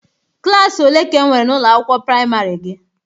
Klaasị ole ka enwere na ụlọ akwụkwọ priamarị gị?